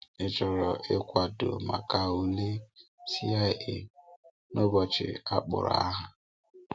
Ị chọ̀rò ịkwadò maka ule CIA n’ụbọchị a kpọrọ aha?